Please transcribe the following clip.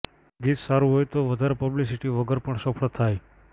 ગીત સારું હોય તો એ વધારે પબ્લિસિટી વગર પણ સફળ થાય